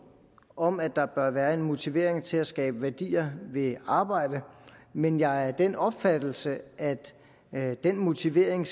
om at der bør være en motivering til at skabe værdier ved arbejde men jeg er af den opfattelse at at den motivering